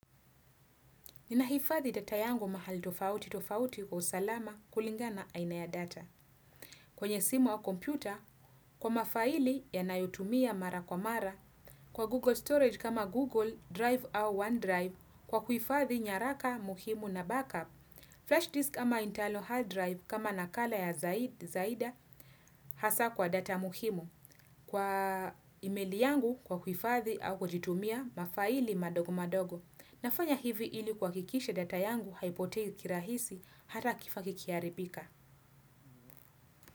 Ninahifadhi data yangu mahali tofauti tofauti kwa usalama kulingana na aina ya data. Kwenye simu au kompyuta, kwa mafaili ya nayotumia mara kwa mara. Kwa google storage kama google drive au one drive kwa kuhifadhi nyaraka muhimu na backup flash disk ama internal hard drive kama nakala ya zai zaida hasa kwa data muhimu. Kwa email yangu kwa kuifadhi au kujitumia mafaili madogo madogo. Nafanya hivi ili kuhakikisha data yangu haipotei kirahisi hata kifaa kikiharibika.